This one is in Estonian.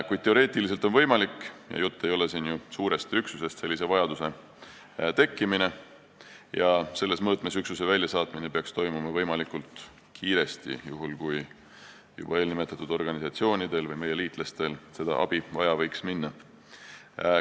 Jutt ei ole ju suurest üksusest, kuid teoreetiliselt on võimalik, et selline vajadus tekib: juhul kui eelnimetatud organisatsioonidel või meie liitlastel võiks abi vaja minna, peaks sellise mõõtmega üksuse väljasaatmine toimuma võimalikult kiiresti.